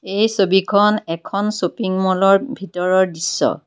এই ছবিখন এখন শ্বপিং মলৰ ভিতৰৰ দৃশ্য।